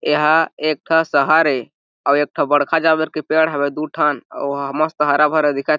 एहा एक ठ शहर ए अउ एक ठो बड़का जामेर के पेड़ हवय दू ठन अउ ओहा मस्त ह हरा-भरा दिखत --